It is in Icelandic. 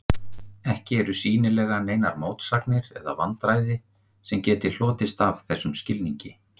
Ekki eru sýnilega neinar mótsagnir eða vandræði sem geti hlotist af þessum skilningi.